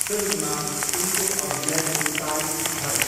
फिल्ममा उनको अभिनयको तारिफ भयो।